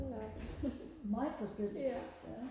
hold da op ja